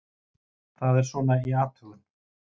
Það er svona í athugun.